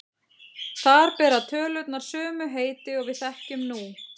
Þar bera tölurnar sömu heiti og við þekkjum nú.